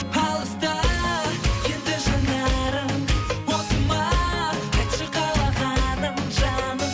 алыста енді жанарың осы ма айтшы қалағаның жаным